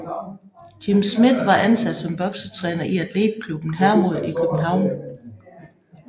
Jim Smith var ansat som boksetræner i Athletklubben Hermod i København